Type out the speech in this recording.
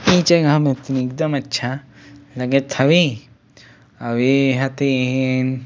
इ जगह देखे में तेन एकदम अच्छा लग हवे और ए ह तेएएएन--